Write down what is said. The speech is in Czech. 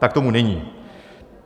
Tak tomu není.